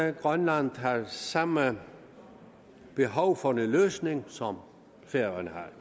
at grønland har samme behov for en løsning som færøerne